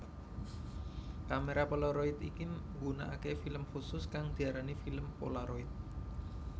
Kamera polaroid iki nggunakake film khusus kang diarani film polaroid